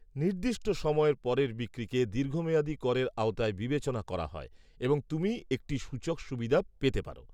নির্দিষ্ট সময়ের পরের বিক্রিকে দীর্ঘমেয়াদী করের আওতায় বিবেচনা করা হয় এবং তুমি একটি সূচক সুবিধা পেতে পার।